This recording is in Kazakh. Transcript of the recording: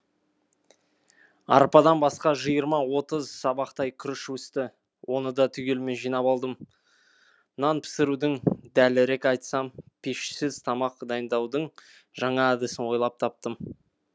арпадан басқа жиырма отыз сабақтай күріш өсті оны да түгелімен жинап алдым нан пісірудің дәлірек айтсам пешсіз тамақ дайындаудың жаңа әдісін ойлап таптым